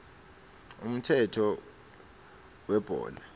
umthetho webhola